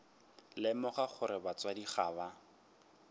lemoga gore batswadi ga ba